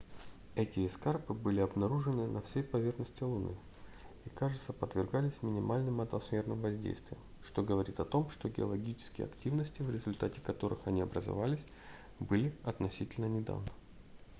эти эскарпы были обнаружены на всей поверхности луны и кажется подвергались минимальным атмосферным воздействиям что говорит о том что геологические активности в результате которых они образовались были относительно недавно